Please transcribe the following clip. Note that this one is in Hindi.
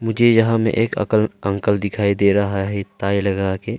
मुझे यहां में एक अकल अंकल दिखाई दे रहा है टाई लगा के।